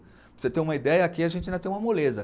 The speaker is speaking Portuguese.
Para você ter uma ideia, aqui a gente ainda tem uma moleza.